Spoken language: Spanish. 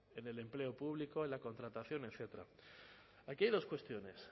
en el empleo público en la contratación etcétera aquí hay dos cuestiones